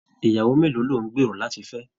Ìyàwó mélòó ló n gbéró láti fẹ?